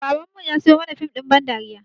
Baban mu ya siyo mana fim ɗin ba dariya